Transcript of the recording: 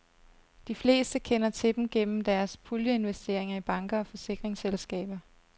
De fleste kender til dem gennem deres puljeinvesteringer i banker og forsikringsselskaber.